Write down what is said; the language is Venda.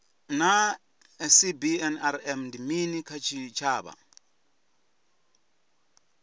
naa cbnrm ndi mini kha tshitshavha